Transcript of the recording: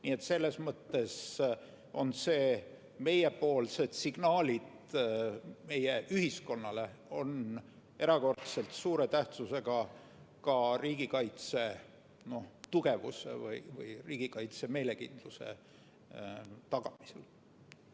Nii et selles mõttes on meiepoolsed signaalid meie ühiskonnale erakordselt suure tähtsusega ka riigikaitse tugevuse või riigikaitse meelekindluse tagamisel.